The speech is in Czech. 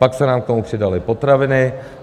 Pak se nám k tomu přidaly potraviny.